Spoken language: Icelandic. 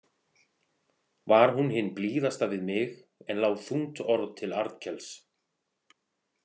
Var hún hin blíðasta við mig en lá þungt orð til Arnkels.